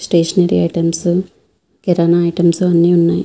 Stationery items kirana items అన్నీ ఉన్నాయి.